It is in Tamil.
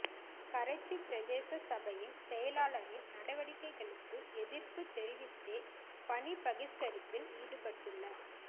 கரைச்சி பிரதேச சபையின் செயலாளரின் நடவடிக்கைகளுக்கு எதிர்ப்புத் தெரிவித்தே பணி பகிஸ்கரிப்பில் ஈடுப்பட்டுள்